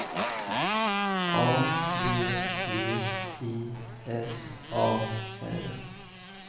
A V V I S A R